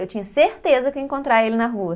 Eu tinha certeza que eu ia encontrar ele na rua.